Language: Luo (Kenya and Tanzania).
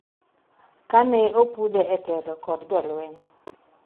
kane opudhe e telo kod jolweny